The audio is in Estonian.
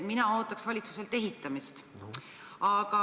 Mina ootaksin valitsuselt ehitamist.